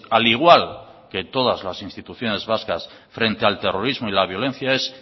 al igual que todas las instituciones vascas frente al terrorismo y la violencia es